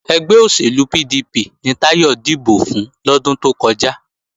Ẹgbẹ́ òṣèlú PDP ni Táyọ̀ dìbò fún lọ́dún tó kọjá